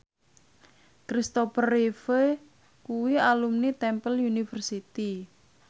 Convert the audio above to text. Christopher Reeve kuwi alumni Temple University